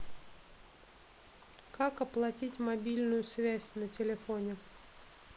как оплатить мобильную связь на телефоне